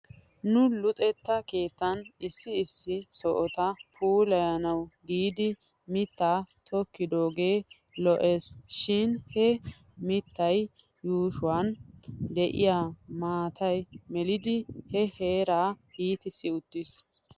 Nu luxetta keettan issi issi sohota puulayanaw giidi mittaa tokkidoogee lo'es shin he mittaa yuushuwan de'iyaa maatay melidi he heeraa iitissi uttis.